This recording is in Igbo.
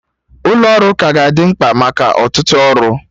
Ụlọ ọrụ ka ga-adị mkpa maka ọtụtụ ọrụ